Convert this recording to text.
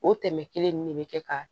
O tɛmɛ kelen ne bɛ kɛ ka